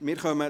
Geschäft